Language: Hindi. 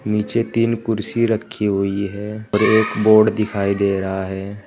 नीचे तीन कुर्सी रखी हुई है और एक बोर्ड दिखाई दे रहा है।